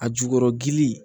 A jukɔrɔ gili